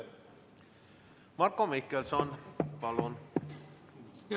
Marko Mihkelson, palun!